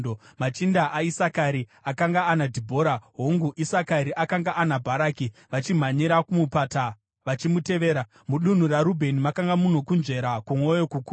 Machinda aIsakari akanga ana Dhibhora; hongu Isakari akanga ana Bharaki, vachimhanyira kumupata vachimutevera. Mudunhu raRubheni makanga muno kunzvera kwomwoyo kukuru.